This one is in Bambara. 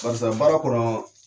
Barisa baara kɔnɔɔ.